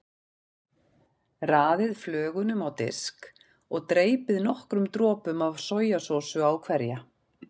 Raðið flögunum á disk og dreypið nokkrum dropum af sojasósu á hverja.